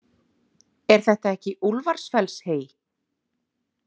Er þetta ekki Úlfarsfellshey?